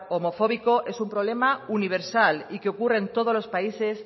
homofóbico es un problema universal y que ocurre en todos los países